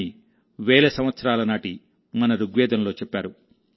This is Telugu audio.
అని వేల సంవత్సరాల నాటిమన ఋగ్వేదంలో చెప్పారు